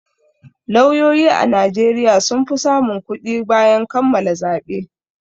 Lauyoyi a Najeriya sun fi samun kuɗi bayan kammala zaɓe.